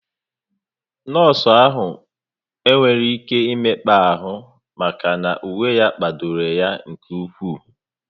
Nọọsụ ahụ nwere ihe mekpa ahụ maka na uwe ya kpadoro ya nke ụkwụ